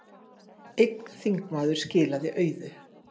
Einn þingmaður skilaði auðu